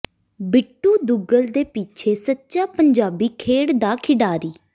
ਬਿੱਟੂ ਦੁਗਲ ਦੇ ਪਿੱਛੇ ਸੱਚਾ ਪੰਜਾਬੀ ਖੇਡ ਦਾ ਖਿਡਾਰੀ